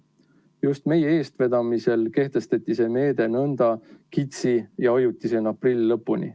Just meie eestvedamisel kehtestati see meede nõnda kitsi ja ajutisena aprilli lõpuni.